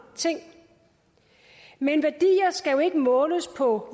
ting men værdier skal jo ikke måles på